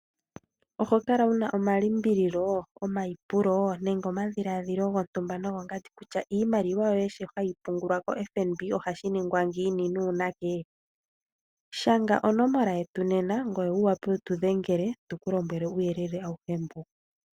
Oho kala wuna omalimbililo, omayipulo nenge omadhiladhilo gontumba nogongandi, kutya iimaliwa yoye mbyo hayi oungulwa koFNB ohashi nimgwa ngiini nuunake? Shanga onomola yetu nena ngoye wu wape wu tu dhengele, tu ku lombwele uuyelele awuhe mbuka.